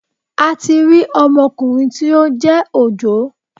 A ti rí ọmokùnrin tí ó jẹ́ Òjó